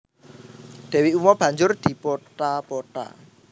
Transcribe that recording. Dewi Uma banjur dipotha potha